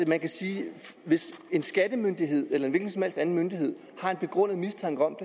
man kan sige at hvis en skattemyndighed eller en hvilken som helst anden myndighed har en begrundet mistanke om